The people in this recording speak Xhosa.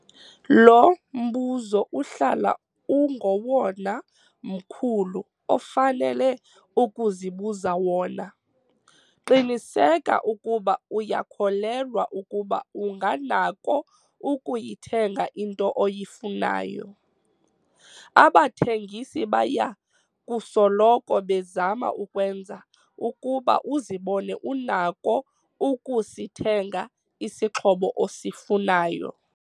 Lo mbuzo uhlala ungowona mkhulu ofanele ukuzibuza wona. Qiniseka ukuba uyakholelwa ukuba unganako ukuyithenga into oyifunayo. Abathengisi baya kusoloko bezama ukwenza ukuba uzibone unako ukusithenga isixhobo osifunayo.